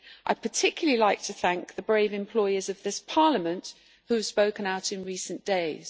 I would particularly like to thank the brave employees of this Parliament who have spoken out in recent days.